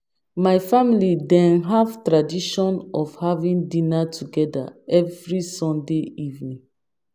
My family dey have tradition of having dinner together every Sunday evening.